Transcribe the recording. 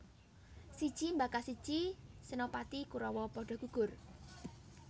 Siji mbaka siji senopati Kurawa padha gugur